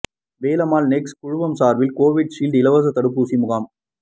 Velammal Nexus குழுமம் சார்பில் Covid shield இலவச தடுப்பூசி முகாம்